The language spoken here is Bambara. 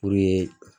Puruke